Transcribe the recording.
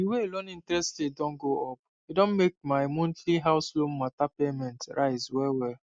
the way loan interest rate don go up e don make my monthly house loan matter payment rise well well